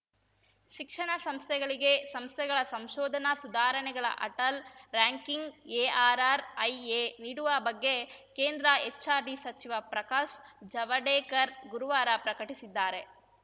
ಶಿಕ್ಷಣ ಸಂಸ್ಥೆಗಳಿಗೆ ಸಂಸ್ಥೆಗಳ ಸಂಶೋಧನಾ ಸುಧಾರಣೆಗಳ ಅಟಲ್‌ ರಾರ‍ಯಂಕಿಂಗ್‌ಎಆರ್‌ಆರ್‌ಐಎ ನೀಡುವ ಬಗ್ಗೆ ಕೇಂದ್ರ ಎಚ್‌ಆರ್‌ಡಿ ಸಚಿವ ಪ್ರಕಾಶ್‌ ಜಾವಡೇಕರ್‌ ಗುರುವಾರ ಪ್ರಕಟಿಸಿದ್ದಾರೆ